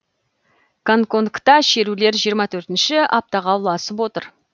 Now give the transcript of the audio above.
гонконгта шерулер жиырма төртінші аптаға ұласып отыр